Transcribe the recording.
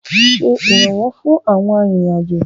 Ṣe ìrànwọ́ fún owó ìrìn-àjò ìrìn-àjò.